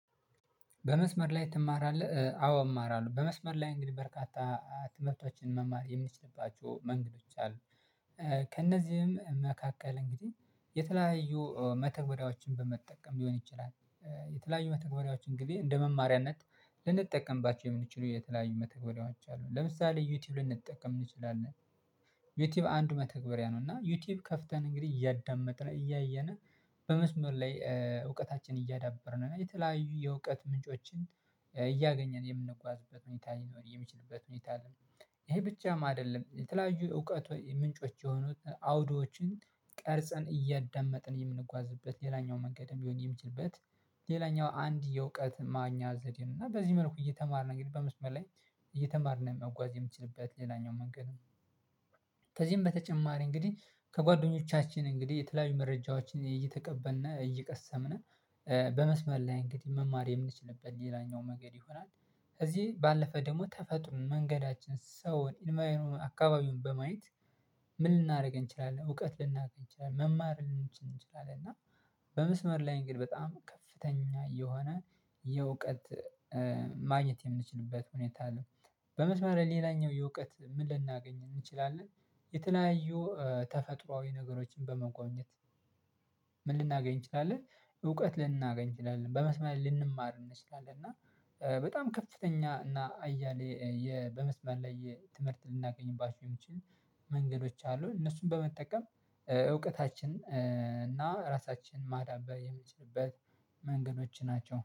በመስመር ላይ ትማራለህ? አዎ እማራለሁ በመስመር ላይ እንግዲህ በርካታ ትምህርቶችን መማር የምንችልባቸው መንገዶች አሉ። ከእነዚህም መካከል እንግዲህ የተለያዩ መተግበሪያዎችን በመጠቀም ሊሆን ይችላል። የተለያዩ መተግበሪያዎች እንግዲህ እንደ መማሪያነት ልንጠቀምባቸው የምንችለው የተለያዩ መተግበሪያዎች አሉ ለምሳሌ ዩቲዩብ ልንጠቀም እንችላለን። ዩቲዩብ አንዱ መተግበሪያ ነው እና ዩቲዩብ ከፍተን እንግዲህ እያዳመጥን እያየን በመስመር ላይ እውቀታችን እያዳበርን የተለያዩ የእውቀት ምንጮችን እያገኘን የምንጓዝበት ሁኔታ ሊኖር የሚችልበት ሁኔታ አለ። ይሄ ብቻም አይደለም የተለያዩ እውቀት ምንጮች የሆኑት አውዶዎችን ቀርጸን እያዳመጥን የምንጓዝበት ሌላኛው መንገድ የሚሆን የሚችልበት ሌላኛው አንድ የእውቀት ማግኛ ዘዴ ነው እና በዚህ መልኩ እየተማርን እንግዲህ በመስመር ላይ እየተማርን መጓዝ የምችልበት ሌላኛው መንገድም። ከዚህም በተጨማሪ እንግዲህ ከጓደኞቻችን እንግዲህ የተለያዩ መረጃዎችን እየተቀበልን እየቀሰምን በመስመር ላይ እንግዲህ መማር የምንችልበት ሌላኛው መንገድ ይሆናል። ከዚህ ባለፈ ደግሞ ተፈጥሮን መንገዳችንን ሰውን ኢንቫ አካባቢውን በማየት ምን ልናደርገን እንችላለን እውቀት ልናገኝ እንችላለን መማር ልንችል እንችላለን እና። በመስመር ላይ እንግዲህ በጣም ከፍተኛ የሆነ የእውቀት ማግኘት የምንችልበት ሁኔታ አለው። በመስመር ሌላኛው የእውቀት ምን ልናገኝ እንችላለን? የተለያዩ ተፈጥሮአዊ ነገሮችን በመጎብኘት? ምን ልናገኝ እንችላለን? እውቀት ልናገኝ እንችላለን በመስመር ልንማር እንችላለን እና በጣም ከፍተኛ እና አያሌ በመስማር ላይ ትምህርት ልናገኝባቸው የምችል መንገዶች አሉ። እነሱን በመጠቀም እውቀታችን እና ራሳችን ማዳበር የምንችልበት መንገዶች ናቸው